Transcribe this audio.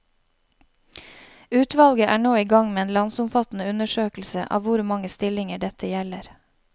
Utvalget er nå i gang med en landsomfattende undersøkelse av hvor mange stillinger dette gjelder.